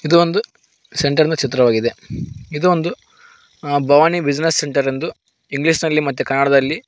ಇದು ಒಂದು ಸೆಂಟರ್ ನ ಚಿತ್ರವಾಗಿದೆ ಇದು ಒಂದು ಅ ಭವಾನಿ ಬ್ಯುಸಿನೆಸ್ ಸೆಂಟರ್ ಎಂದು ಇಂಗ್ಲಿಷ್ ನಲ್ಲಿ ಮತ್ತೆ ಕನ್ನಡದಲ್ಲಿ--